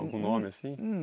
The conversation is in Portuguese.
Algum nome assim?